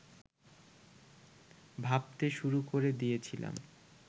ভাবতে শুরু করে দিয়েছিলাম